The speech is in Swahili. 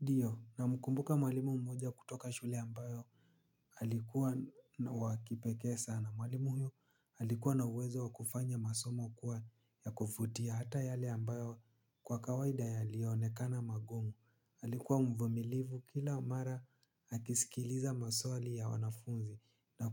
Ndiyo namkumbuka mwalimu mmoja kutoka shule ambayo alikuwa wa kipekee sana. Mwalimu huyo alikuwa na uwezo wa kufanya masomo kuwa ya kuvutia hata yale ambayo kwa kawaida yalionekana magumu. Alikuwa mvumilivu kila mara akisikiliza maswali ya wanafunzi. Na